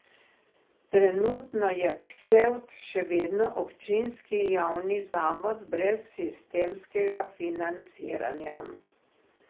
Trenutno je Ksevt še vedno občinski javni zavod brez sistemskega financiranja.